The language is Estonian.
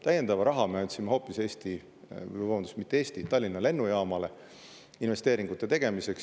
Täiendava raha me andsime hoopis Tallinna Lennujaamale investeeringute tegemiseks.